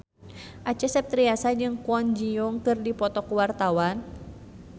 Acha Septriasa jeung Kwon Ji Yong keur dipoto ku wartawan